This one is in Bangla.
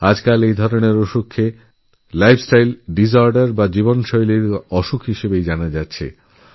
আজকাল এই অসুখগুলিকে লাইফস্টাইলডাইজরদের বলা হয়